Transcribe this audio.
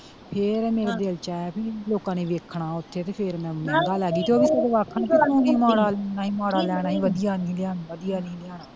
ਫਿਰ ਮੇਰੇ ਦਿਲ ਚ ਆਇਆ ਬੀ ਲੋਕਾਂ ਨੇ ਵੇਖਣਾ ਓਥੇ ਤੇ ਫਿਰ ਮੈਂ ਮਹਿੰਗਾ ਲੈਗੀ ਤੇ ਉਹਵੀ ਆਖਣ ਤੂੰ ਵੀ ਮਾੜਾ ਲੈਣਾ ਸੀ ਵਧੀਆ ਨਹੀਂ ਸੀ ਲਿਆਉਣਾ।